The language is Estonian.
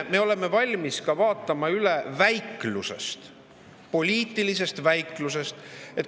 Me oleme valmis ka vaatama üle väiklusest, poliitilisest väiklusest.